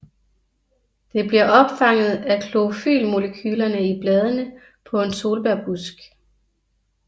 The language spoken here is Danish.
Det bliver opfanget af klorofylmolekylerne i bladene på en solbærbusk